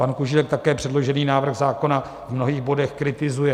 Pan Kužílek také předložený návrh zákona v mnohých bodech kritizuje.